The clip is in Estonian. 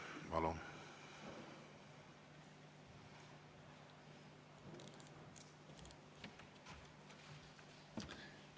Palun!